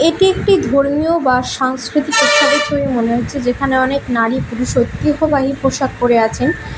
এটি একটি ধর্মীয় বা সাংস্কৃতিক উৎসবের ছবি মনে হচ্ছে যেখানে অনেক নারী পুরুষ ঐতিহ্যবাহী পোশাক পরে আছেন।